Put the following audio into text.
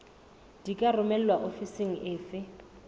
di ka romelwa ofising efe